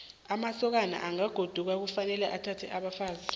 amasokana angagoduka kufanele athathe abafazi